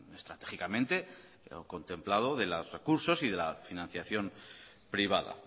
estratégicamente lo contemplado de los recursos y de la financiación privada